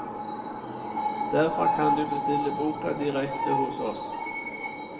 Derfra kan du bestille boka direkte hos oss.